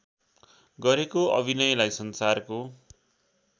गरेको अभिनयलाई संसारको